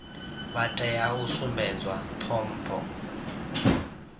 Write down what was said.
vha tea u sumbedzwa ṱhompho